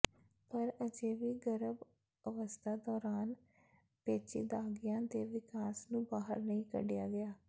ਪਰ ਅਜੇ ਵੀ ਗਰਭ ਅਵਸਥਾ ਦੌਰਾਨ ਪੇਚੀਦਗੀਆਂ ਦੇ ਵਿਕਾਸ ਨੂੰ ਬਾਹਰ ਨਹੀਂ ਕੱਢਿਆ ਗਿਆ